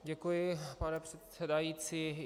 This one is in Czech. Děkuji, pane předsedající.